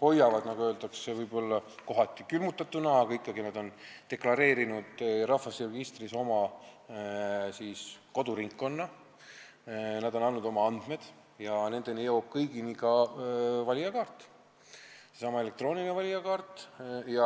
võib-olla kohati külmutatuna, aga ikkagi on nad deklareerinud rahvastikuregistris oma koduringkonna, nad on andnud oma andmed ja nad kõik saavad ka valijakaardi, sellesama elektroonilise valijakaardi.